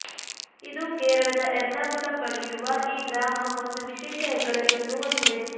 ಇದು ಕೇರಳದ ಎರ್ನಾಕುಲಂ ಬಳಿಯಿರುವ ಈ ಗ್ರಾಮ ಒಂದು ವಿಶೇಷ ಹೆಗ್ಗಳಿಕೆಯನ್ನು ಹೊಂದಿದೆ